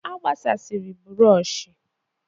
A gbasasịrị bụrọshị.